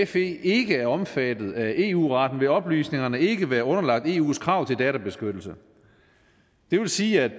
fe ikke er omfattet af eu retten vil oplysningerne ikke været underlagt eus krav til databeskyttelse det vil sige at